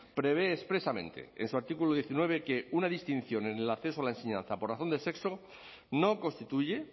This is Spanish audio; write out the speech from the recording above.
prevé expresamente en su artículo diecinueve que una distinción en el acceso a la enseñanza por razón de sexo no constituye